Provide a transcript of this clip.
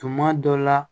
Tuma dɔ la